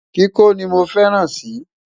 kíkọ ní mọ fẹràn si